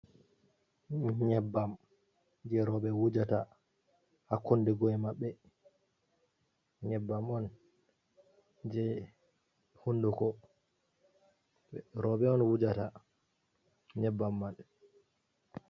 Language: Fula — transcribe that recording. Nyebbam je roɓe wujata ha kunɗe maɓɓe. Nyebbam on je hunduko roɓe on wujata nyebbam man